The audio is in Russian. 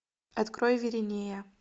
открой виринея